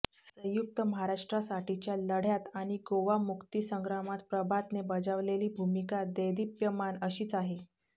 संयुक्त महाराष्ट्रासाठीच्या लढ्यात आणि गोवा मुक्ती संग्रामात प्रभातने बजावलेली भूमिका देदीप्यमान अशीच आहे